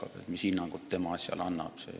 Siis näeme, mis hinnangud tulevad.